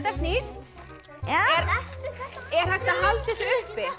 snýst er er hægt að halda þessu uppi þetta